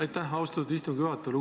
Aitäh, austatud istungi juhataja!